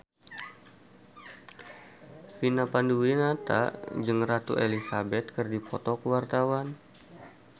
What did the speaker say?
Vina Panduwinata jeung Ratu Elizabeth keur dipoto ku wartawan